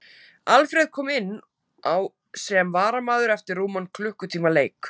Alfreð kom inn á sem varamaður eftir rúman klukkutíma leik.